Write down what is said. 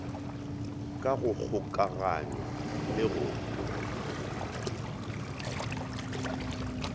ka go kgokaganywa le go